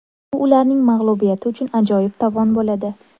Bu ularning mag‘lubiyati uchun ajoyib tovon bo‘ladi”.